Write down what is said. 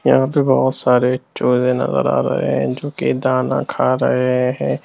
यहाँ पे बहोत सारे चूहे नजर आ रहे हैं जो कि दाना खा रहे हैं।